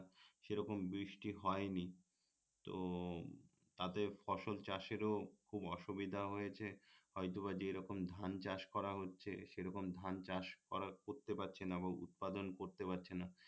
সেরকম বৃষ্টি হয়নি তো তাদের ফসল চাষেরও খুব অসুবিধা হয়েছে হয়তোবা যেরকম ধান চাষ করা হচ্ছে সেরকম ধান চাষ করা করতে পারছে না উৎপাদন করতে পারছে না